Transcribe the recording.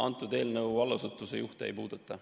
Antud eelnõu allasutuse juhte ei puuduta.